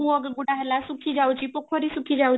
କୂଅ ଗୁଡାକ ହେଲା ଶୁଖି ଯାଉଛି ପୋଖରୀ ଶୁଖି ଯାଉ